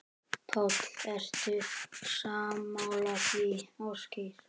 Páll: Ertu sammála því, Ásgeir?